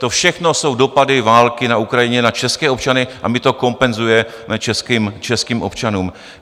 To všechno jsou dopady války na Ukrajině na české občany a my to kompenzujeme českým občanům.